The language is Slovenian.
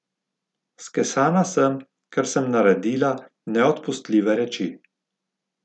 Skesana sem, ker sem naredila neodpustljive reči.